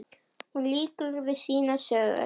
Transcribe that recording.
Hún lýkur við sínar sögur.